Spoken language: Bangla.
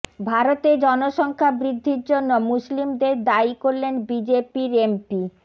ভারতে জনসংখ্যা বৃদ্ধির জন্য মুসলিমদের দায়ী করলেন বিজেপির এমপি